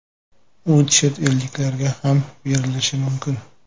U chet elliklarga ham berilishi mumkin.